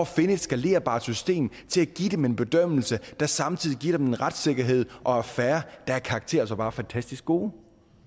finde et skalerbart system til at give dem en bedømmelse der samtidig giver dem en retssikkerhed og er fair er karakterer altså bare fantastisk gode